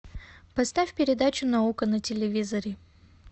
поставь передачу наука на телевизоре